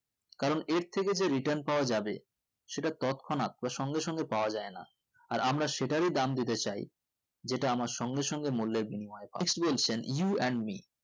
কারণ এর থেকে যে return পাওয়া যাবে যে তৎকলহনাত বা সঙ্গে সঙ্গে পাওয়া যাই না এই আমরা সেটারই দাম দিতে চাই যেটা আমার সঙ্গে সঙ্গে মূল্যের বিনিময়ে পাই বলছেন you and me